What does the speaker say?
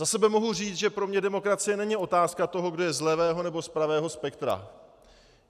Za sebe mohu říct, že pro mne demokracie není otázka toho, kdo je z levého nebo z pravého spektra.